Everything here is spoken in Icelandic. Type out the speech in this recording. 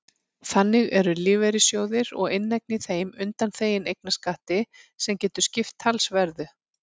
Þannig eru lífeyrissjóðir og inneign í þeim undanþegin eignarskatti sem getur skipt talsverðu.